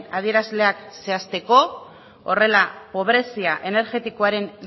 adierazleak zehazteko horrela pobrezia energetikoaren